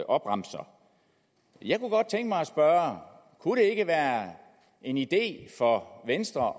opremser jeg kunne godt tænke mig spørge kunne det ikke være en idé for venstre